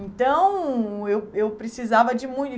Então, eu eu precisava de muito.